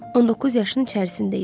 19 yaşın içərisində idi.